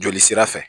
Joli sira fɛ